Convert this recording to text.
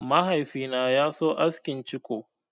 Mahaifi na ya so askin ciko.